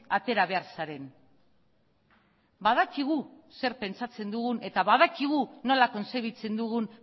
atera behar zaren badakigu zer pentsatzen dugun eta badakigu nola kontzebitzen dugun